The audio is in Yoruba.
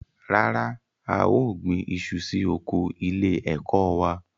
Rárá, a ò gbin iṣu sí oko ilé-ẹ̀kọ́ wa.